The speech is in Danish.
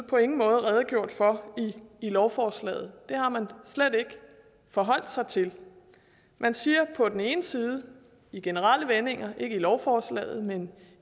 på ingen måde redegjort for i lovforslaget det har man slet ikke forholdt sig til man siger på den ene side i generelle vendinger ikke i lovforslaget men